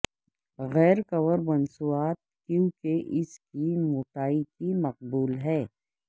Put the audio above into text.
غیر کور مصنوعات کیونکہ اس کی موٹائی کی مقبول ہیں